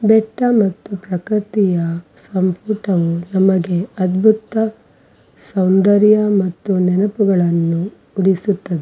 ಬೆಟ್ಟ ಮತ್ತು ಪ್ರಕ್ ರ್ತಿಯ ಸಂಪುಟವು ನಮಗೆ ಅದ್ಬುತ ಸೌಂದರ್ಯ ಮತ್ತು ನೆನಪುಗಳನ್ನು ಉಳಿಸುತ್ತದೆ --